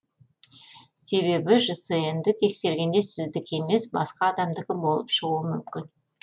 себебі жснді тексергенде сіздікі емес басқа адамдікі болып шығуы мүмкін